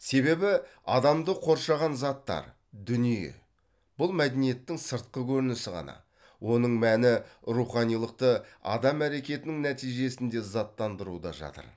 себебі адамды қоршаған заттар дүние бұл мәдениеттің сыртқы көрінісі ғана оның мәні руханилықты адам әрекетінің нәтижесінде заттандыруда жатыр